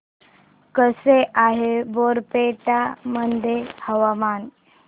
कसे आहे बारपेटा मध्ये हवामान